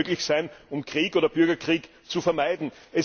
Das muss möglich sein, um Krieg oder Bürgerkrieg zu vermeiden.